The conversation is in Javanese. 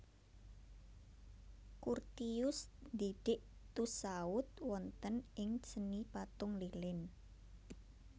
Curtius ndidik Tussaud wonten ing seni patung lilin